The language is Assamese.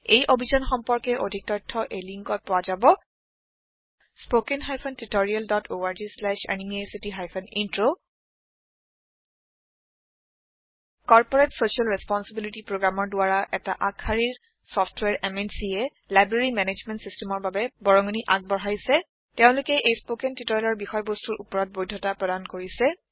এই অভিযান সম্পৰ্কে অধিক তথ্য এই লিংকত পোৱা যাব httpspoken tutorialorgNMEICT Intro corporate social responsibility Programmeৰ দ্বাৰা এটা আগশাৰীৰ চফ্টৱেৰ MNCয়ে লাইব্ৰেৰী মেনেজমেণ্ট Systemৰ বাবে বৰঙনি আগবঢ়াইছে তেওলোকে এই স্পৌকেন টিওটৰিয়েলৰ বিষয়বস্তুৰ ওপৰত বৈধতা প্ৰদান কৰিছে